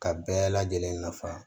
Ka bɛɛ lajɛlen nafa